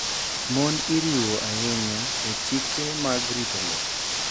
Mon iriwo ahinya e chike mag rito lowo.